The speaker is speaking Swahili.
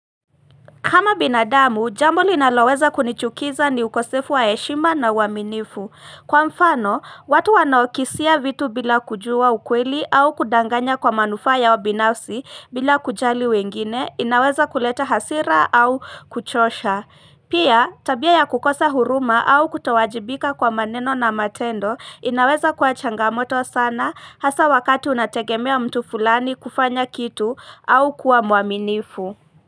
Kama binadamu, jambo linaloweza kunichukiza ni ukosefu wa heshima na uaminifu. Kwa mfano, watu wanaokisia vitu bila kujua ukweli au kudanganya kwa manufaa yao binafsi bila kujali wengine, inaweza kuleta hasira au kuchosha. Pia, tabia ya kukosa huruma au kutowajibika kwa maneno na matendo, inaweza kuwa changamoto sana, hasa wakati unategemea mtu fulani kufanya kitu au kuwa muaminifu.